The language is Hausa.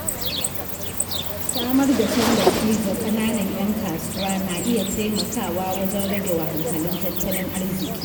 Samar da tallafi ga ƙananan ‘yan kasuwa na iya taimakawa wajen rage wahalhalun tattalin arziƙi.